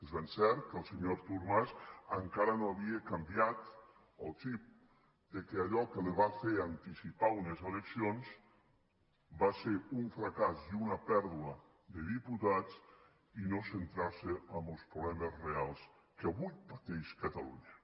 és ben cert que el senyor artur mas encara no havia canviat el xip que allò que li va fer anticipar unes eleccions va ser un fracàs i una pèrdua de diputats i no centrar se en els problemes reals que avui pateix catalunya